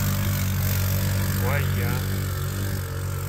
лайян